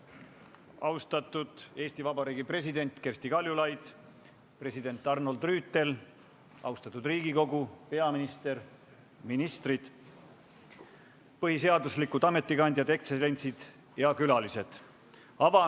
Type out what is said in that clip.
Tere päevast, austatud Eesti Vabariigi president Kersti Kaljulaid, president Arnold Rüütel, austatud Riigikogu, peaminister, ministrid, põhiseaduslikud ametikandjad, ekstsellentsid ja külalised!